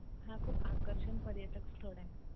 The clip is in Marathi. हा, खूप आकर्षक पर्यटन स्थळ आहे.